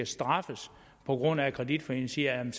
straffes på grund af at kreditforeningen siger